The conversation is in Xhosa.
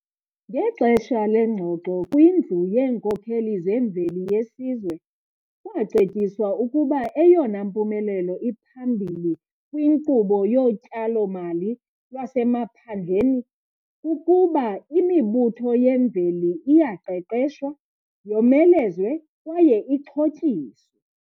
Ngexesha lengxoxo kwiNdlu yeeNkokheli zeMveli yeSizwe kwacetyiswa ukuba eyona mpumelelo iphambili kwinkqubo yoTyalo-mali lwaseMaphandleni kukuba imibutho yemveli iyaqeqeshwa, yomelezwe kwaye ixhotyiswe.